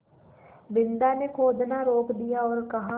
बिन्दा ने खोदना रोक दिया और कहा